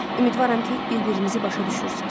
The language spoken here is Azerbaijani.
Ümidvaram ki, bir-birinizi başa düşürsüz."